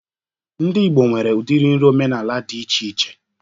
Ndị Ịgbo nwere udiri nri omenala dị iche iche